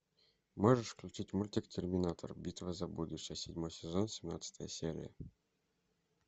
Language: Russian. можешь включить мультик терминатор битва за будущее седьмой сезон семнадцатая серия